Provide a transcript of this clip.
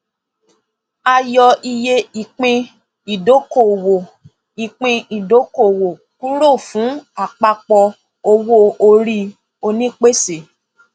a yọ iye ìpín ìdókòwò ìpín ìdókòwò kúrò fún àpapọ owó orí onípèsè